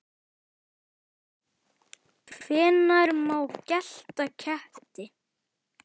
Hvenær má gelda ketti?